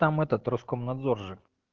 там этот роскомнадзор же